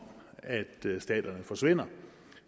at staterne forsvinder